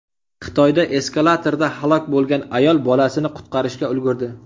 Xitoyda eskalatorda halok bo‘lgan ayol bolasini qutqarishga ulgurdi .